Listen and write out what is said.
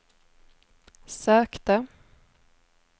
sökte